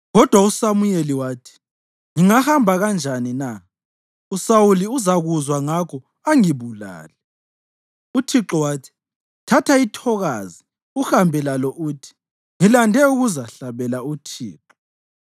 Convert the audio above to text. Kodwa uSamuyeli wathi, “Ngingahamba kanjani na? USawuli uzakuzwa ngakho angibulale.” Uthixo wathi, “Thatha ithokazi uhambe lalo uthi, ‘Ngilande ukuzahlabela uThixo.’